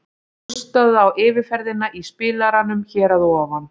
Hlustaðu á yfirferðina í spilaranum hér að ofan.